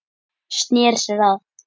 Sneri sér að